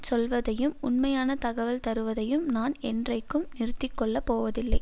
சொல்வதையும் உண்மையான தகவல் தருவதையும் நான் என்றைக்கும் நிறுத்திக்கொள்ளப் போவதில்லை